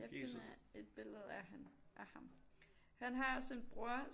Jeg finder et billede af ham han har også en bror